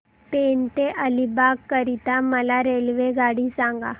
पेण ते अलिबाग करीता मला रेल्वेगाडी सांगा